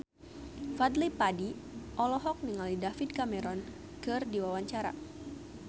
Fadly Padi olohok ningali David Cameron keur diwawancara